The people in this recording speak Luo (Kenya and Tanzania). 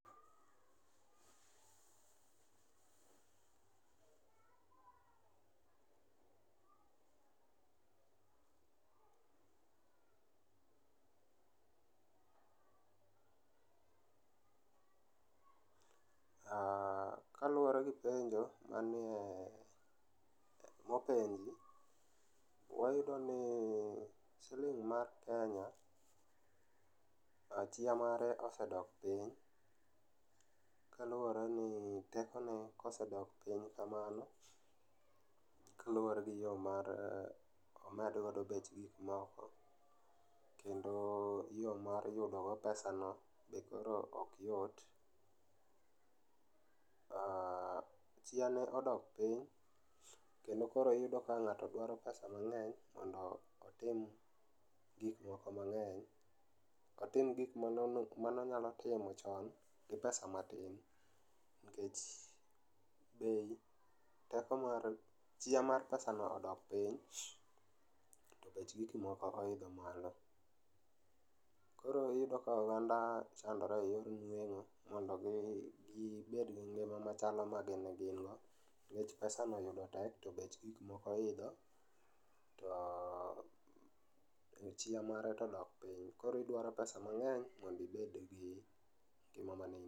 Kaluore gi penjo manie ,mopenji wayudo ni siling mar Kenya chia mare osedok piny kaluore ni teko ne osedok piny kamano kaluore gi yo mar omed godo bech gik moko kendo yoo mar yudo go pesano be koro ok yot, aah, chia ne odok piny kendo koro iyudo ka ng'ato dwaro pesa mangeny mondo otim gik moko mangeny, otim gik mane onego imo chon gi pesa matin nikech bei ,teko mar e,chia mar pesa no odok piny to bech gik moko oidho malo. Koro iyudo ka oganda chandore eyor nwengo mondo gibedgi ngima machalo madine gin go nikech pesano yudo tek to bech gik moko oidho to chia mare to odok piny. Koro idwaro pesa mangeny mondo obedgi ngima mane in go